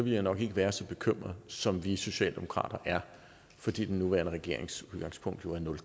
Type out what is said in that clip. jeg nok ikke være så bekymret som vi socialdemokrater er fordi den nuværende regerings udgangspunkt jo er nul